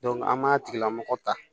an b'a tigilamɔgɔ ta